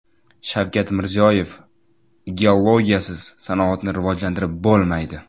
Shavkat Mirziyoyev: Geologiyasiz sanoatni rivojlantirib bo‘lmaydi.